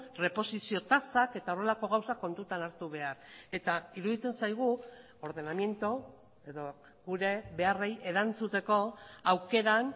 erreposizio tasak eta horrelako gauzak kontutan hartu behar eta iruditzen zaigu ordenamiento edo gure beharrei erantzuteko aukeran